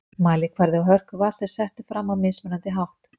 mælikvarði á hörku vatns er settur fram á mismunandi hátt